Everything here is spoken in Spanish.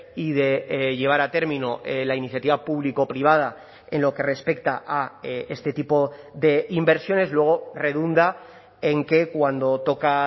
y de llevar a término la iniciativa público privada en lo que respecta a este tipo de inversiones luego redunda en que cuando toca